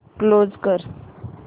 close कर